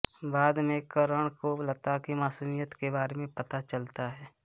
बाद में करण को लता की मासूमियत के बारे में पता चलता है